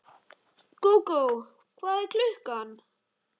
Gógó, hvað er klukkan?